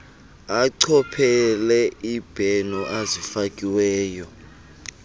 achophele izibheno ezifakiweyo